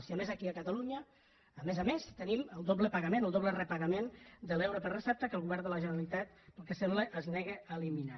i a més aquí a catalunya a més a més tenim el doble pagament o el doble repagament de l’euro per recepta que el govern de la generalitat pel que sembla es nega a eliminar